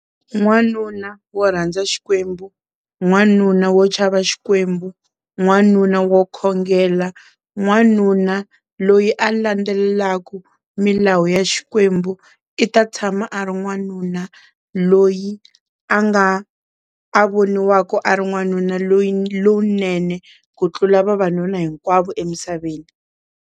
N'wanuna wo rhandza Xikwembu, n'wanuna wo tshava Xikwembu, n'wanuna wo khongela, n'wanuna loyi a landzelelaka milawu ya Xikwembu i ta tshama a ri n'wanuna loyi a nga a voniwaka a ri n'wanuna loyi lowunene ku tlula vavanuna hinkwavo emisaveni.